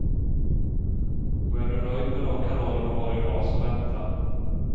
Och är du nöjd med de kanaler du har i dag, så vänta.